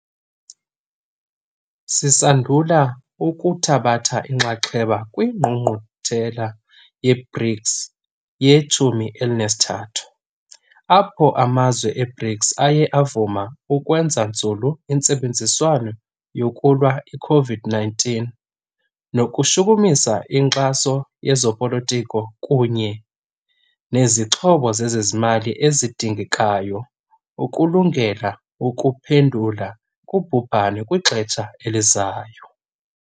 Sisandula ukuthabatha inxaxheba kwiNgqungquthela ye-BRICS ye-13, apho amazwe e-BRICS aye avuma ukwenza nzulu intsebenziswano yokulwa i-COVID-19 nokushukumisa inkxaso yezopolitiko kunye nezixhobo zezezimali ezidingekayo ukulungela ukuphendula kubhubhane kwixesha elizayo.